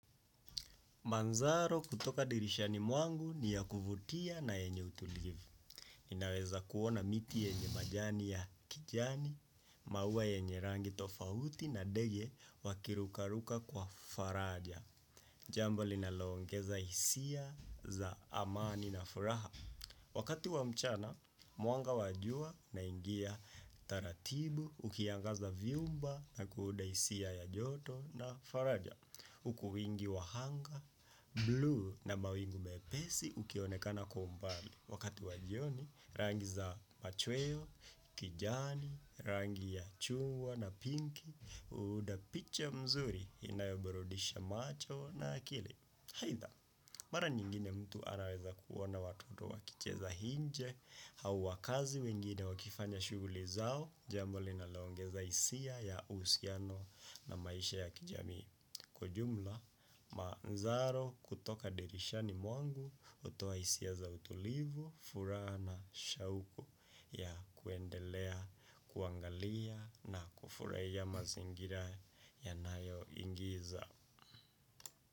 Manzaro kutoka dirishani mwangu ni ya kuvutia na yenye utulivu. Ninaweza kuona miti yenye majani ya kijani, maua yenye rangi tofauti na ndege wakirukaruka kwa faraja. Jambo linaloongeza hisia za amani na furaha. Wakati wa mchana, mwanga wa jua unaingia taratibu ukiangaza vyumba na kuunda hisia ya joto na faraja. Huku wingi wa anga, bluu na mawingu mepesi ukionekana kwa umbali Wakati wa jioni, rangi za machweo, kijani, rangi ya chungwa na pinki huunda picha mzuri inayoburudisha macho na akili aitha, mara nyingine mtu anaweza kuona watoto wakicheza inje au wakazi wengine wakifanya shughuli zao Jambo linaloongeza hisia ya uhusiano na maisha ya kijamii Kwa jumla manzaro kutoka dirishani mwangu hutoa hisia za utulivu furaha na shauku ya kuendelea kuangalia na kufurahia mazingira yanayoingiza.